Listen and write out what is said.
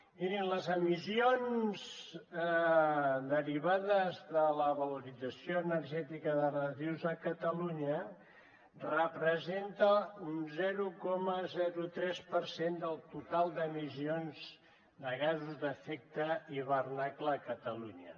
mirin les emissions derivades de la valorització energètica de residus a catalunya representen un zero coma tres per cent del total d’emissions de gasos d’efecte d’hivernacle a catalunya